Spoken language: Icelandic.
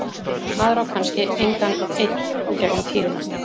Maður á kannski engan einn í gegnum tíðina.